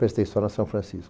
Prestei só na São Francisco.